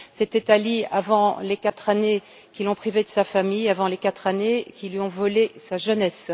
C'était Ali avant les quatre années qui l'ont privé de sa famille, avant les quatre années qui lui ont volé sa jeunesse.